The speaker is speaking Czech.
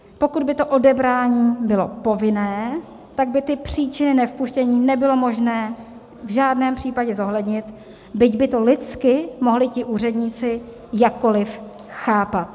Pokud by to odebrání bylo povinné, tak by ty příčiny nevpuštění nebylo možné v žádném případě zohlednit, byť by to lidsky mohli ti úředníci jakkoliv chápat.